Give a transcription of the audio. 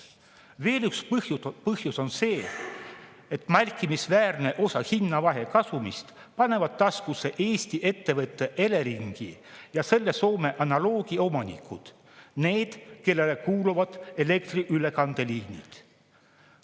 Veel üks põhjus on see, et märkimisväärse osa hinnavahe kasumist panevad taskusse Eesti ettevõtte Elering ja selle Soome analoogi omanikud, need, kellele kuuluvad elektri ülekandeliinid.